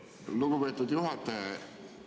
Lugupeetud juhataja!